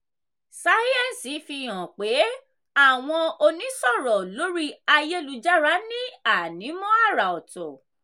sáyẹ́ǹsì fi hàn pé àwọn onísọ̀rọ̀ lórí ayélujára ní ànímọ́ àrà ọ̀tọ̀.